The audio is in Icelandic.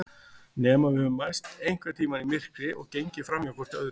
Nema við höfum mæst einhvern tíma í myrkri og gengið framhjá hvort öðru.